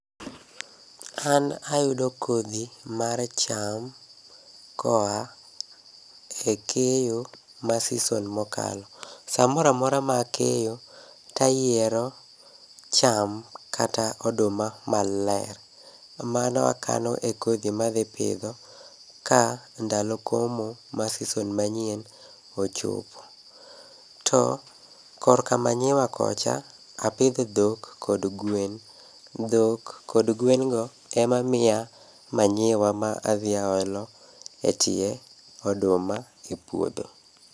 An ayudo kodhi mar cham koa e keyo ma season mokalo. Samoramora makeyo tayiero cham kata oduma maler. Mano akano e kodhi madhi pidho ka ndalo komo mar season manyien ochopo. To korka manyiwa kocha, apidho dhok kod gwen, dhok kod gwen go ema miya manyiwa ma adhi aolo e tie oduma e puodho.